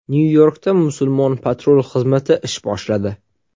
Nyu-Yorkda musulmon patrul xizmati ish boshladi.